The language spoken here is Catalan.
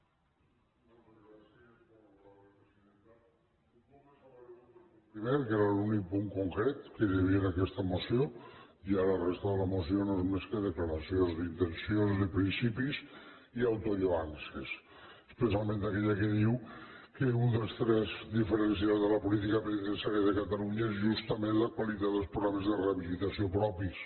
un cop desaparegut el punt primer que era l’únic punt concret que hi havia en aquesta moció ja la resta de la moció no és més que declaracions d’intencions de principis i autolloances especialment aquella que diu que un dels trets diferencials de la política penitenciària de catalunya és justament la qualitat dels programes de rehabilitació propis